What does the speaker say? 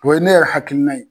O ye ne yɛrɛ hakilina ye.